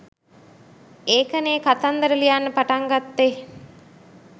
ඒකනේ කතන්දර ලියන්න පටන් ගත්තේ